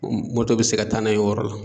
Um bɛ se ka taa n'a ye o yɔrɔ la